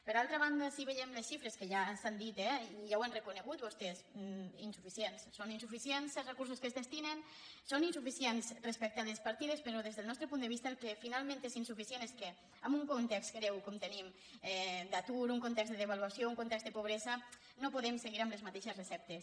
per altra banda sí que veiem les xifres que ja s’han dit eh i ja ho han reconegut vostès insuficients són insuficients els recursos que es destinen són insuficients respecte a les partides però des del nostre punt de vista el que finalment és insuficient és que en un context greu com tenim d’atur en un context de devaluació en un context de pobresa no podem seguir amb les mateixes receptes